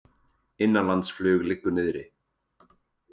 Innanlandsflug liggur niðri